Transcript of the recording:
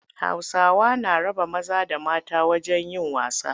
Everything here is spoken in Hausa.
Hausawa na raba maza da mata wajen yin wasa.